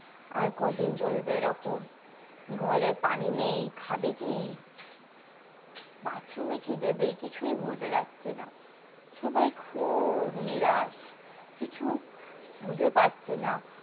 আর কদিন চলবে এরকম ঘরে পানি নেই খাবে কি বাথরুমে কি দেবে কিছুই বোঝা যাচ্ছে না সবাই খুব নিরাশ কিছু খুঁজে পাচ্ছে না ।